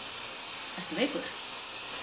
Ertu veikur?